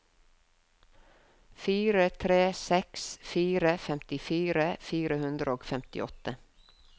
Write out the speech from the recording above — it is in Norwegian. fire tre seks fire femtifire fire hundre og femtiåtte